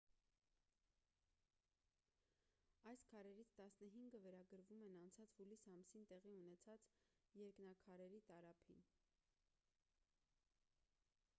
այս քարերից տասնհինգը վերագրվում են անցած հուլիս ամսին տեղի ունեցած երկնաքարերի տարափին